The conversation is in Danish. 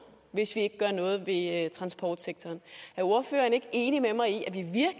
hvis ikke vi gør noget ved transportsektoren er ordføreren ikke enig med mig i at